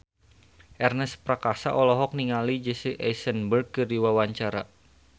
Ernest Prakasa olohok ningali Jesse Eisenberg keur diwawancara